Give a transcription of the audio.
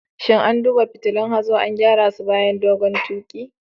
Shin an duba fitulun hazo an gyara su bayan dogon tuƙi?